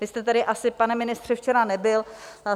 Vy jste tady asi, pane ministře, včera nebyl.